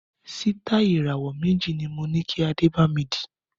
Sitai Ìràwọ́ méjì ni moní kí Adé bami dì